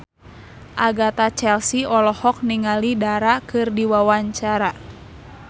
Agatha Chelsea olohok ningali Dara keur diwawancara